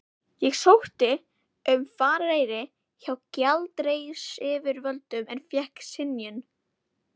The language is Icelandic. Ég sótti um farareyri hjá gjaldeyrisyfirvöldum en fékk synjun.